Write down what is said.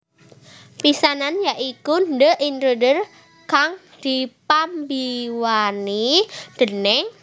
pisanan ya iku The Intruder kang dipambiwrani déning